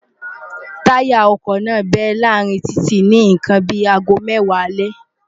táyà ọkọ̀ náà bẹ́ láàárín títì ni nǹkan bí i aago mẹ́wàá alẹ́